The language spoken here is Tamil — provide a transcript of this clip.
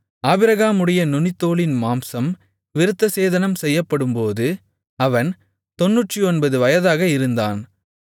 ஆபிரகாமுடைய நுனித்தோலின் மாம்சம் விருத்தசேதனம் செய்யப்படும்போது அவன் 99 வயதாக இருந்தான்